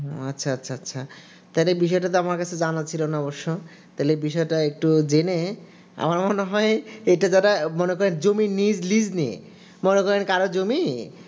হুম আচ্ছা আচ্ছা তাহলে বিষয়টা তো জানা ছিল না আমার কাছে তাহলে বিষয়টা একটু জেনে আমার মনে হয় এই যে যারা জমির লীজ নিয়ছি মনে করেন কারো জমি